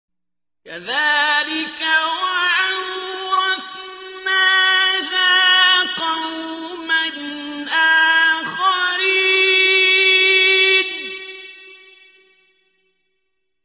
كَذَٰلِكَ ۖ وَأَوْرَثْنَاهَا قَوْمًا آخَرِينَ